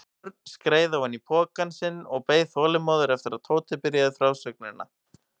Örn skreið ofan í pokann sinn og beið þolinmóður eftir að Tóti byrjaði frásögnina.